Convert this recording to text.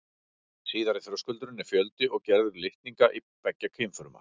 Síðari þröskuldurinn er fjöldi og gerð litninga beggja kynfruma.